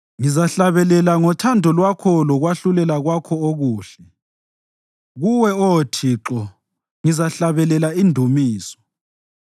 Ngizahlabelela ngothando lwakho lokwahlulela kwakho okuhle; kuwe, Oh Thixo, ngizahlabelela indumiso.